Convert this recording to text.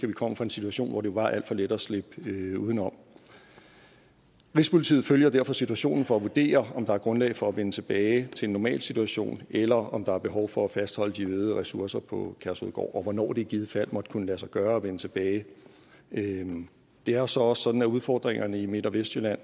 vi kommer fra en situation hvor det var alt for let at slippe udenom rigspolitiet følger derfor situationen for at vurdere om der er grundlag for at vende tilbage til en normal situation eller om der er behov for at fastholde de øgede ressourcer på kærshovedgård og hvornår det i givet fald måtte kunne lade sig gøre at vende tilbage det er så også sådan at udfordringerne i midt og vestjylland